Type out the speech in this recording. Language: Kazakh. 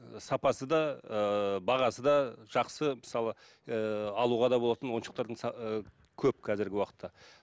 ыыы сапасы да ыыы бағасы да жақсы мысалы ыыы алуға да болатын ойыншықтардың ы көп қазіргі уақытта